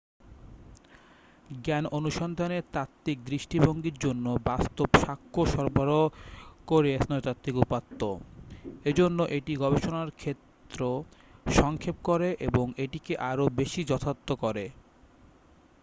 জ্ঞান অনুসন্ধানের তাত্ত্বিক দৃষ্টিভংগীর জন্য বাস্তব স্বাক্ষ্য সরবরাহ করে স্নায়ুতাত্ত্বিক উপাত্ত এজন্য এটি গবেষণার ক্ষেত্র সংক্ষেপ করে এবং এটিকে আরো বেশী যথার্থ করে